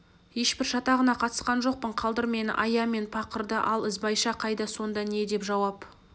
ешбір шатағына қатысқан жоқпын қалдыр мені ая мен пақырды ал ізбайша қайда сонда не деп жауап